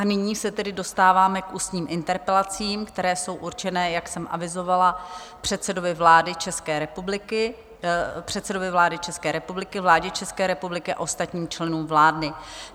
A nyní se tedy dostáváme k ústním interpelacím, které jsou určeny, jak jsem avizovala, předsedovi vlády České republiky, vládě České republiky a ostatním členům vlády.